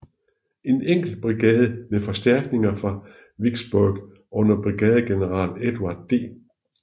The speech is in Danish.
En enkelt brigade med forstærkninger fra Vicksburg under brigadegeneral Edward D